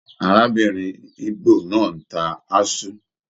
Arábìnrin ígbò náà n tá aṣu.